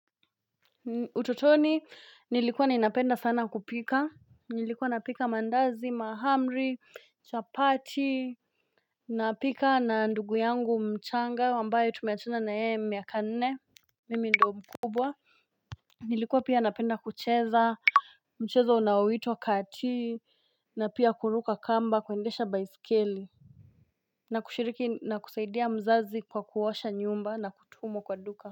Utotoni, nilikuwa ninapenda sana kupika, nilikuwa napika mandazi, mahamri, chapati, napika na ndugu yangu mchanga, ambaye tumeachana na ye miaka nne, mimi ndo mkubwa. Nilikuwa pia napenda kucheza, mchezo unaoitwa kati, na pia kuruka kamba, kuendesha baiskeli. Na kushiriki na kusaidia mzazi kwa kuosha nyumba na kutumwa kwa duka.